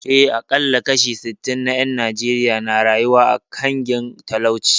Eh, aƙalla kashi sittin na ƴan Najeriya na rayuwa a ƙangin talauci